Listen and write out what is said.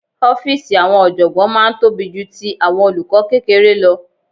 Ọ́fíìsì àwọn ọ̀jọ̀gbọ́n máa ń tóbi ju ti àwọn olùkọ́ kékeré lọ